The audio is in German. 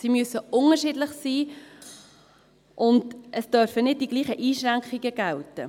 Sie müssen unterschiedlich sein, und es dürfen nicht die gleichen Einschränkungen gelten.